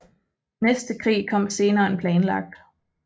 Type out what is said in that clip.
Næste krig kom senere end planlagt